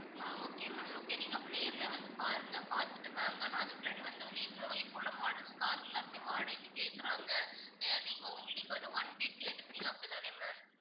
ஆஹ் okay ma'am okay நீங்க அப்போ நேர்லையே வந்து பாருங்க பாத்துட்டு வாங்க ஆனா அதுக்குள்ளயும் வந்து நீங்க இங்குள்ள models car எல்லாமே வாடகைக்கு கேக்குறாங்க ஆஹ் நீங்க உங்க நீங்க வந்து one week கேட்டிருந்தீங்க அப்படி தான ma'am